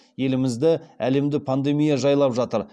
елімізді әлемді пандемия жайлап жатыр